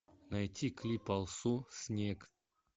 найти клип алсу снег